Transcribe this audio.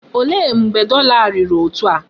Olee mgbe dọla a riri etu a?